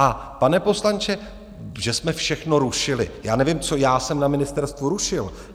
A pane poslanče, že jsme všechno rušili: já nevím, co já jsem na ministerstvu rušil.